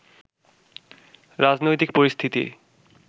রাজনৈতিক পরিস্থিতি